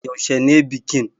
Yaushe ne bikin?